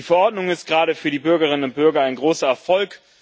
Die Verordnung ist gerade für die Bürgerinnen und Bürger ein großer Erfolg.